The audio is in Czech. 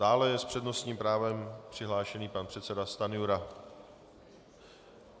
Dále je s přednostním právem přihlášený pan předseda Stanjura.